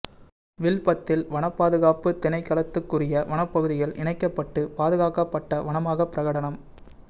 வில்பத்தில் வன பாதுகாப்பு திணைக்களத்துக்குரிய வனப்பகுதிகள் இணைக்கப்பட்டு பாதுகாக்கப்பட்ட வனமாக பிரகடனம்